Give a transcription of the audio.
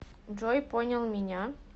джой понял меня